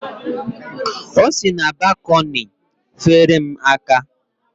O si na balkọni feere m aka.